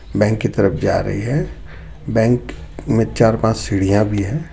Bank की तरफ जा रही है बैंक में चार-पांच सीडीया भी है.